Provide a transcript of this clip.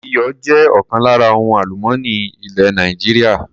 Iyọ̀ jẹ́ ọ̀kan lára ohun àlùmọ́nì ilẹ̀ Nàìjíríà.